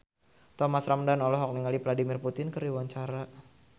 Thomas Ramdhan olohok ningali Vladimir Putin keur diwawancara